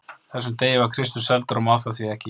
þessum degi var Kristur seldur og má það því ekki.